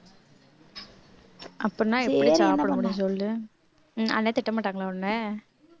அப்படின்னா எப்படி சாப்பிட முடியும் சொல்லு அண்ணன் திட்ட மாட்டாங்களா உன்னை